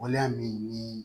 Waleya min ni